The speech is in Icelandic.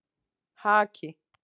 Haki